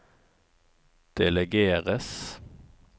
delegeres